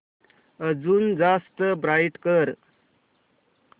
अजून जास्त ब्राईट कर